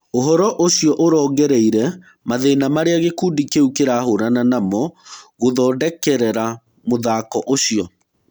ũhoro ũcio ũrongoreirĩe Mathĩna marĩa gĩkundi kĩu kĩrahũrana namo gũthondekerera mũthako ũcio.